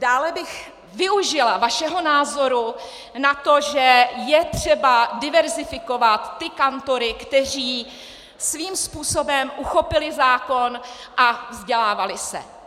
Dále bych využila vašeho názoru na to, že je třeba diverzifikovat ty kantory, kteří svým způsobem uchopili zákon a vzdělávali se.